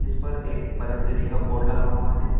ऊपर एक पतंजलि का बोर्ड लगा हुआ है।